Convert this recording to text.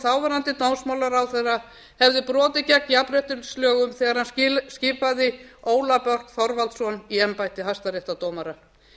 þáverandi dómsmálaráðherra hefði brotið gegn jafnréttislögum þegar hann skipaði ólaf börk þorvaldsson í embætti hæstaréttardómara